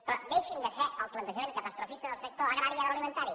però deixin de fer el plantejament catastrofista del sector agrari i agroalimentari